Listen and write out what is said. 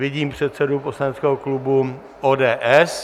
Vidím předsedu poslaneckého klubu ODS.